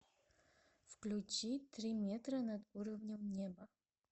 включи три метра над уровнем неба